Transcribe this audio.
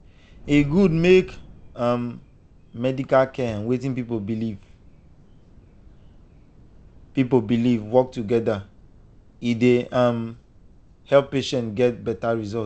e good make um medical care and wetin people believe people believe work together e dey um help patients get better result.